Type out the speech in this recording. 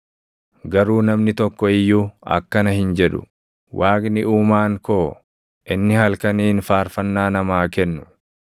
Garuu namni tokko iyyuu akkana hin jedhu; ‘Waaqni Uumaan koo, inni halkaniin faarfannaa namaa kennu,